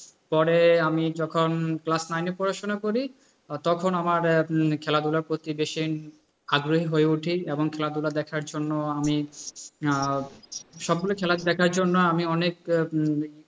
পরে আমি যখন class nine এ পড়াশোনা করি তখন আমার খেলাধুলার প্রতি বেশি আগ্রহী হয়ে উঠি এবং খেলাধুলা দেখার জন্য আমি, সবগুলো খেলা দেখার জন্য আমি অনেক